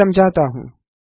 मैं समझाता हूँ